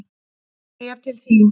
Bréf til þín.